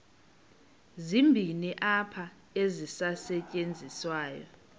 zibini qha ezisasetyenziswayo